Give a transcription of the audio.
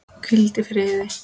Hvíldu í friði.